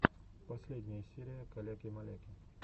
последняя серия каляки маляки